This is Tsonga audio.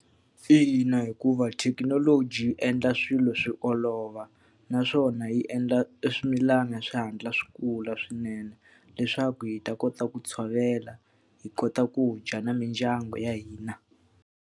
Ina, hikuva thekinoloji yi endla swilo swi olova, naswona yi endla swimilana swi hatla swi kula swinene. Leswaku hi ta kota ku tshovela, hi kota ku dya na mindyangu ya hina.